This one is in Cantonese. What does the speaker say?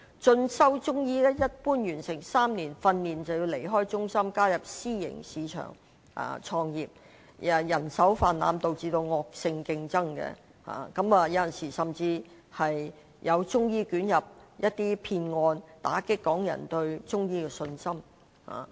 進修中醫藥的學生，一般在完成3年訓練後，便要離開中心進入私營市場創業，人手泛濫導致惡性競爭，有時候甚至有中醫捲入騙案，打擊港人對中醫的信心。